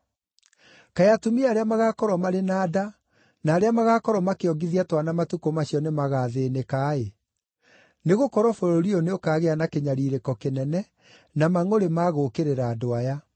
Kaĩ atumia arĩa magaakorwo marĩ na nda, na arĩa magaakorwo makĩongithia twana matukũ macio nĩmagathĩĩnĩka-ĩ! Nĩgũkorwo bũrũri ũyũ nĩũkagĩa na kĩnyariirĩko kĩnene na mangʼũrĩ ma gũũkĩrĩra andũ aya.